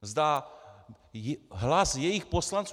Zda hlas jejich poslanců...